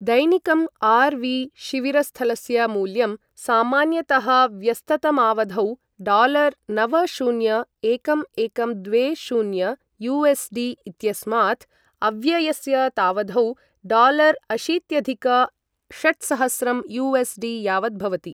दैनिकम् RV. शिविरस्थलस्य मूल्यं सामान्यतः व्यस्ततमावधौ डालार् नव शून्य एकं एकं द्वे शून्य यु.एस्.डि. इत्यस्मात्, अव्यस्यतावधौ डालर्अशीत्यधिक षट्सहस्रं यु.एस्.डि. यावत् भवति।